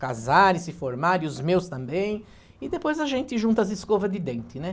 casar e se formar, e os meus também, e depois a gente junta as escovas de dente, né?